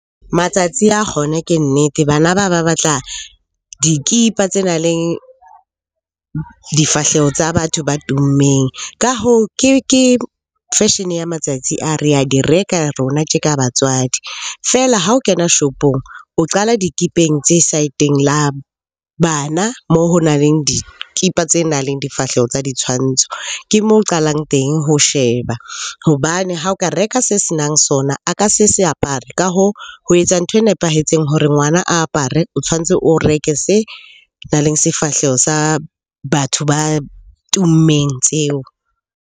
Matsatsi a kgona ke nnete. Bana ba ba batla dikipa tse nang le difahleho tsa batho ba tummeng. Ka hoo, ke fashion-e ya matsatsi a, re a di reka rona tje ka batswadi. Feela ha o kena shopong, o qala dikipeng tse side-eng la bana moo ho nang le dikipa tse nang le difahleho tsa ditshwantsho. Ke moo qalang teng ho sheba hobane ha o ka reka se senang sona, a ka se se apare. Ka hoo, ho etsa ntho e nepahetseng hore ngwana a apare o tshwantse o reke se nang leng sefahleho sa batho ba tummeng tseo.